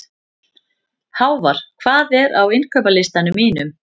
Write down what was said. Hávarr, hvað er á innkaupalistanum mínum?